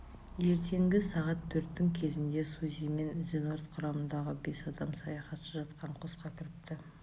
ертеңгі сағат төрттің кезінде сузи мен эенордт құрамындағы бес адам саяхатшы жатқан қосқа кіріпті